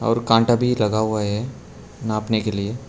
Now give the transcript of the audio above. और कांटा भी लगा हुआ है नापने के लिए।